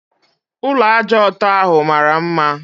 Ụlọ ájá ọtọ ahụ mara mma